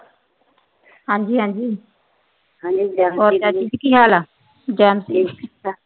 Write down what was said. ਹਾਂ ਜੀ। ਹਾਂ ਜੀ। ਹੋਰ ਕੀ ਹਾਲ ਏ।